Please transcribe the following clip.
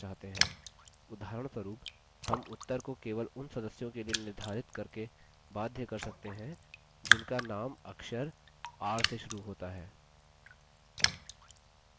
उदाहरणस्वरुप हम उत्तर को केवल उन सदस्यों के लिए निर्धारित करके बाध्य कर सकते हैं जिनका name अक्षर r से शुरू होता है